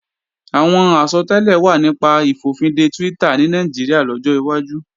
Àwọn àsọtẹ́lẹ̀ wà nípa ìfòfinde Twitter ní Nàìjíríà lọ́jọ́ wájú